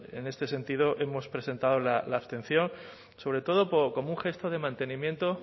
en este sentido hemos presentado la abstención sobre todo como un gesto de mantenimiento